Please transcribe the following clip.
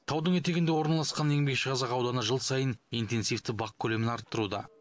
таудың етегінде орналасқан еңбекшіқазақ ауданы жыл сайын интенсивті бақ көлемін арттыруда